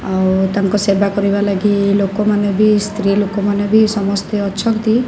ଆଉ ତାଙ୍କ ସେବା କରିବା ଲାଗି ଲୋକ ମାନେ ବି ସ୍ତ୍ରୀ ଲୋକ ମାନେ ସମସ୍ତେ ଅଛନ୍ତି।